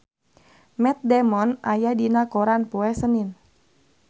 Matt Damon aya dina koran poe Senen